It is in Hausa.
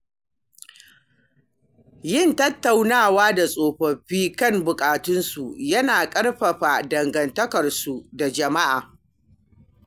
Yin tattaunawa da tsofaffi kan buƙatunsu yana ƙarfafa dangantakarsu da jama'a